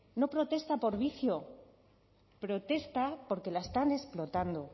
no protesta por vicio protesta porque la están explotando